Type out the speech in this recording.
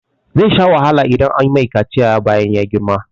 Zai sha wahala idan an mai kaciya bayan ya girma.